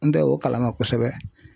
N tɛ o kalama kosɛbɛ